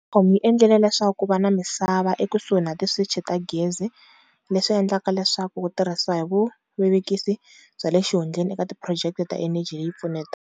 Eskom yi endlile leswaku ku va na misava ekusuhi na switichi swa gezi leswi nga kona leyi nga ta tirhisiwa hi vuvekisi bya le xihundleni eka tiphurojeke ta eneji leyi pfuxeta.